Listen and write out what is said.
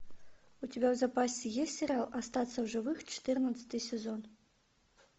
у тебя в запасе есть сериал остаться в живых четырнадцатый сезон